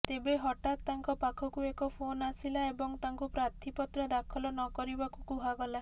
ତେବେ ହଠାତ୍ ତାଙ୍କ ପାଖକୁ ଏକ ଫୋନ୍ ଆସିଲା ଏବଂ ତାଙ୍କୁ ପ୍ରାର୍ଥିପତ୍ର ଦାଖଲ ନ କରିବାକୁ କୁହାଗଲା